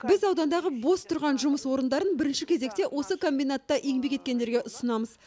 біз аудандағы бос тұрған жұмыс орындарын бірінші кезекте осы комбинатта еңбек еткендерге ұсынамыз